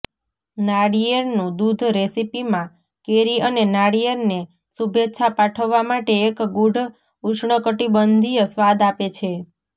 નારિયેળનું દૂધ રેસીપીમાં કેરી અને નાળિયેરને શુભેચ્છા પાઠવવા માટે એક ગૂઢ ઉષ્ણકટિબંધીય સ્વાદ આપે છે